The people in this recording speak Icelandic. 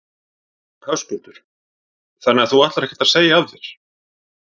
Höskuldur: Þannig að þú ætlar ekkert að segja af þér?